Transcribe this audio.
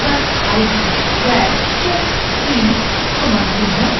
where checkedin = false